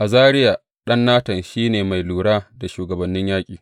Azariya ɗan Natan, shi ne mai lura da shugabannin yanki.